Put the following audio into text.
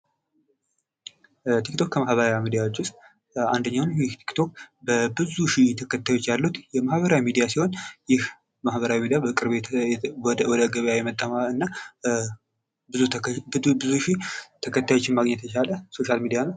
ቲክ ቶክ ማህበራዊ ሚዲያዎች ውስጥ አንደኛ ነው ተከታዮች አሉት ቲክ ቶክ በብዙ ሺህ ተከታዮች ያሉት ማህበራዊ ሚዲያ ሲሆን ይህ ማህበራዊ ሚዲያ ይህ በቅርብ ወደ ሚድያ የመጣና ብዙ ሺህ ተከታዮችን ማግኘት የቻለ ሶሻል ሚዲያ ነው ::